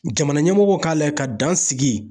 Jamana ɲɛmɔgɔw k'a layɛ ka dan sigi.